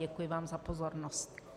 Děkuji vám za pozornost.